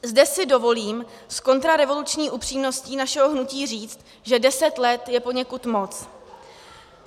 Zde si dovolím s kontrarevoluční upřímností našeho hnutí říct, že deset let je poněkud moc.